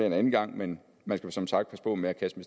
en anden gang men man skal som sagt passe på med at kaste